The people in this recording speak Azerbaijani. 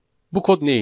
Bu kod nəyləyir?